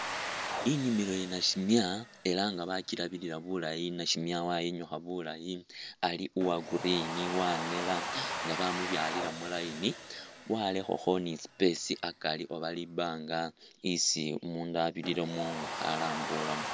Inimilo ya nasimya ela nga bakirabilila bulayi nasimya wayinyukha bulayi ali uwa'green wanela nga bamubyalila mu'line walekhakho ni space akari oba libanga isi umundu abiriramo nga khalambulamo